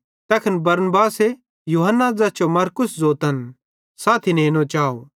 तैखन बरनबासे यूहन्ना ज़ैस जो मरकुस ज़ोतन साथी नेनो चाव